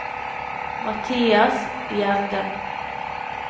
Mathias Gjerde